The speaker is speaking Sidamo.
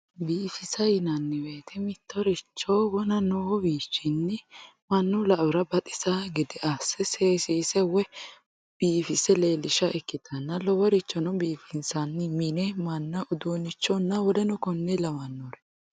Biifise yineemo woyite mitoricho wona noowini mannu la`ora baxisawo gede ase seesise woyi biifise leelisha ikitana loworichono biifinsani mine mana udunichona w.k.l